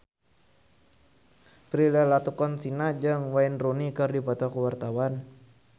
Prilly Latuconsina jeung Wayne Rooney keur dipoto ku wartawan